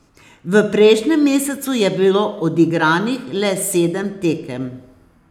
V prejšnjem mesecu je bilo odigranih le sedem tekem.